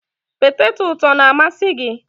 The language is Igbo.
Peteto ụtọ na-amasị gị?